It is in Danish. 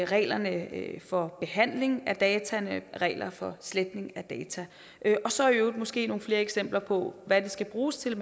reglerne for behandling af data og reglerne for sletning af data og så i øvrigt måske nogle flere eksempler på hvad det skal bruges til